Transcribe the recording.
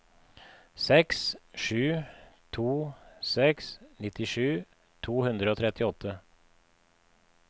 seks sju to seks nittisju to hundre og trettiåtte